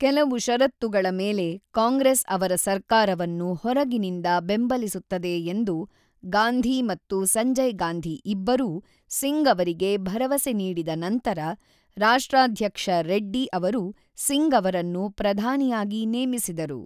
ಕೆಲವು ಷರತ್ತುಗಳ ಮೇಲೆ ಕಾಂಗ್ರೆಸ್ ಅವರ ಸರ್ಕಾರವನ್ನು ಹೊರಗಿನಿಂದ ಬೆಂಬಲಿಸುತ್ತದೆ ಎಂದು ಗಾಂಧಿ ಮತ್ತು ಸಂಜಯ್ ಗಾಂಧಿ ಇಬ್ಬರೂ ಸಿಂಗ್ ಅವರಿಗೆ ಭರವಸೆ ನೀಡಿದ ನಂತರ, ರಾಷ್ಟ್ರಾಧ್ಯಕ್ಷ ರೆಡ್ಡಿ ಅವರು ಸಿಂಗ್ ಅವರನ್ನು ಪ್ರಧಾನಿಯಾಗಿ ನೇಮಿಸಿದರು.